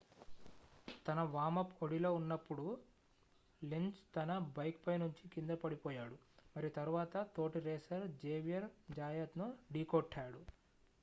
తన వార్మ్-అప్ ఒడిలో ఉన్నప్పుడు లెంజ్ తన బైక్ పై నుంచి కిందపడిపోయాడు మరియు తరువాత తోటి రేసర్ జేవియర్ జాయత్ ను ఢీకొట్టాడు